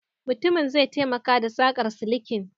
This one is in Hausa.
Mutumin zai taimaka da saƙar silikin